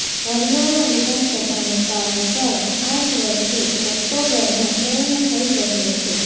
હરિયાણા વિધાનસભાનો કાર્યકાળ આ જ વર્ષે ઓક્ટોબરમાં પુર્ણ થઇ રહ્યો છે